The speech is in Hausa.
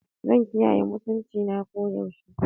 Zan kiyaye mutuncina koyaushe.